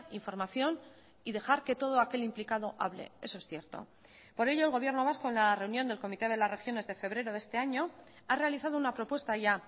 información y dejar que todo aquel implicado hable eso es cierto por ello el gobierno vasco en la reunión del comité de las regiones de febrero de este año ha realizado una propuesta ya